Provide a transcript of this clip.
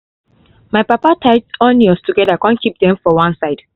my papa tie onions together con keep them for one side